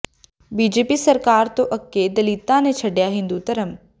BJP ਸਰਕਾਰ ਤੋਂ ਅੱਕੇ ਦਲਿਤਾਂ ਨੇ ਛੱਡਿਆ ਹਿੰਦੂ ਧਰਮ